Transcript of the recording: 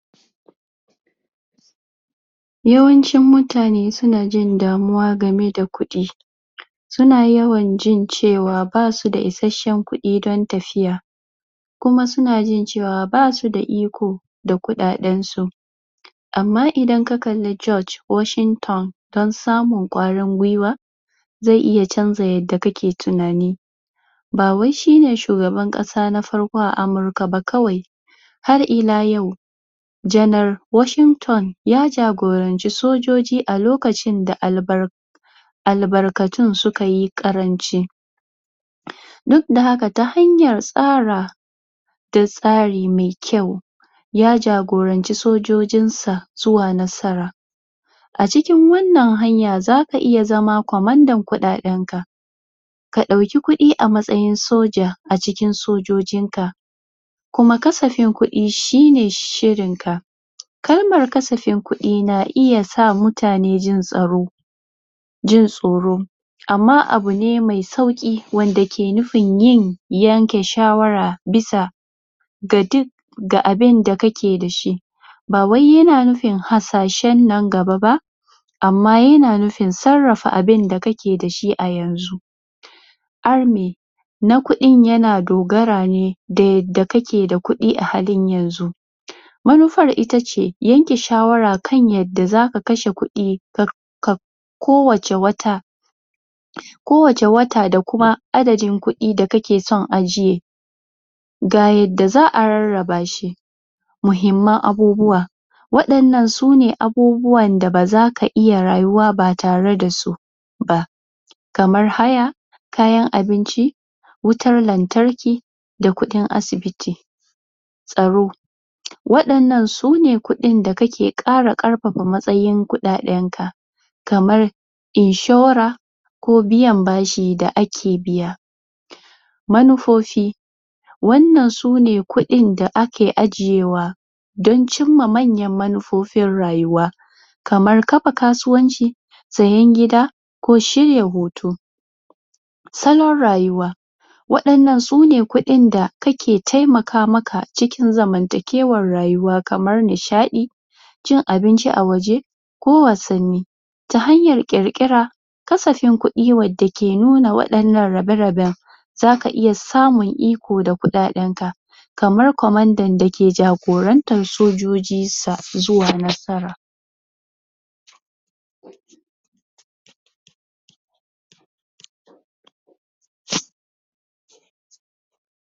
yawan cin mutane suna jin damuwa game da kuɗi suna yawan jin cewa basu da isashshen kuɗi don tafiya kuma suna jin cewa basu da iko da kuɗaɗen su amma idan ka kalli Judge Washigton don samun ƙwarin gwiwa ze iya canza yadda kake tuna ni bawai shine shugaban ƙasa na farko a amuruka ba kawai har ila yau genar washington ya jagoranci sojoji a lokacin da um albarkatun sukai ƙaranci duk da haka ta hanya tsara da tsari me kyau ya jagoranci sojojinsa zuwa nasara a cikin wannan hanya zaka iya zama ƙwamandan kuɗaɗen ka ka ɗauki kuɗi a matsayin soja a cikin sojojin ka kuma kasafin kuɗi shine shirin ka kalmar kasafin kuɗi na iya sa mutane jin tsaro jin tsoro amma abu ne ma sauƙi wanda ke nufin yin yanke shawara bisa ga duk ga abin da kake dashi bawai yana nufin hasashen nan gaba ba amma yana nufin sarrafa abin da kake dashi a yanzu arme na kuɗin yana dogara ne da yadda kake da kuɗi a halin yanzu manufar ita ce yanke shawara kan yadda zaka kashe kuɗi um ko wacce wata ko wacce wata da kuma adadin kuɗi da kake son ajiye ga yadda za'a rarraba shi muhimman abubuwa waɗannan sune abubuwan da bazaka iya rayuwa ba tare dasu ba kamar haya kayan abinci wutar lantarki da kuɗin asibiti tsaro waɗannan sune kuɗin da kake ƙara ƙarfafa matsayin kuɗaɗen ka kamar inshura ko biyan bashi da ake biya manufofi wannan sune kuɗin da ake ajiyewa don cimma manyan manufofin rayuwa kamar kafa kasuwanci sayan gida ko shirya hoto salon rayuwa waɗannan sune kuɗin da kake taimaka maka cikin zaman takewar rayuwa kamar nishaɗi cin abinci a waje ko wasanni ta hanyar ƙirƙira kasafin kuɗi wadda ke nuna waɗannan rabe raben zaka iya samun iko da kuɗaɗenka kamar kwamandan dake jagorantan sojojin sa izuwa nasara